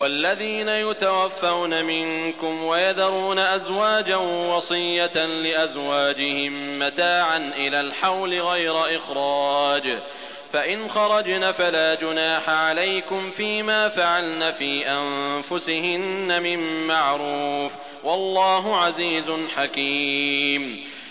وَالَّذِينَ يُتَوَفَّوْنَ مِنكُمْ وَيَذَرُونَ أَزْوَاجًا وَصِيَّةً لِّأَزْوَاجِهِم مَّتَاعًا إِلَى الْحَوْلِ غَيْرَ إِخْرَاجٍ ۚ فَإِنْ خَرَجْنَ فَلَا جُنَاحَ عَلَيْكُمْ فِي مَا فَعَلْنَ فِي أَنفُسِهِنَّ مِن مَّعْرُوفٍ ۗ وَاللَّهُ عَزِيزٌ حَكِيمٌ